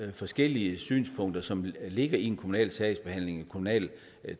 de forskellige synspunkter som ligger i en kommunal sagsbehandling og en kommunal